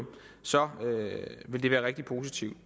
så vil det være rigtig positivt